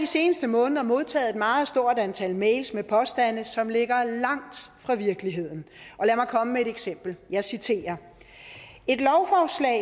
seneste måneder modtaget et meget stort antal mails med påstande som ligger langt fra virkeligheden lad mig komme med et eksempel jeg citerer